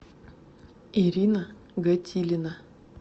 ирина готилина